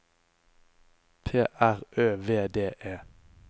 P R Ø V D E